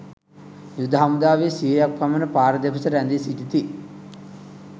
යුද හමුදාවේ සියයක් පමණ පාර දෙපස රැඳී සිටිති.